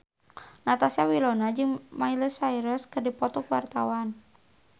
Natasha Wilona jeung Miley Cyrus keur dipoto ku wartawan